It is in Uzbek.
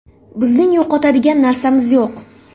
Bizning yo‘qotadigan narsamiz yo‘q.